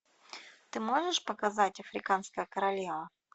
ты можешь показать африканская королева